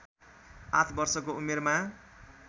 आठ वर्षको उमेरमा